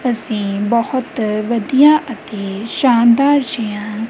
ਅੱਸੀਂ ਬੋਹੁਤ ਵਧੀਆ ਅਤੇ ਸ਼ਾਨਦਾਰ ਜੇਹਾ--